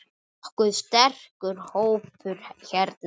Nokkuð sterkur hópur hérna.